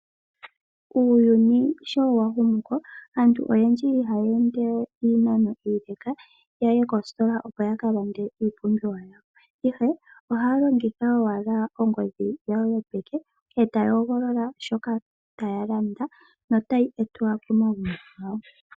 Uuyuni sho wa hama ko aantu oyendji ihayeende we iinano iileka yaye koositola opo ya ka lande iipumbiwa yawo ihe ohaya longitha owala ongodhi yawo yopeke eta ya hogolola shoka taya landa notayi etwa pomagumbo gawo.